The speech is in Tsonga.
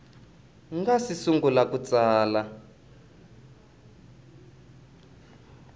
nga si sungula ku tsala